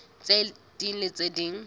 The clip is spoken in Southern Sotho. tse ding le tse ding